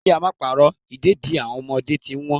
Kí á máa pa'rọ́, ìdẹ̀dì àwọn ọmọdé ti ń Wọ́n.